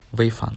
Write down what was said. вэйфан